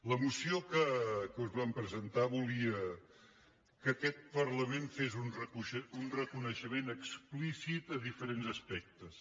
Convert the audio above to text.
la moció que us vam presentar volia que aquest par·lament fes un reconeixement explícit de diferents as·pectes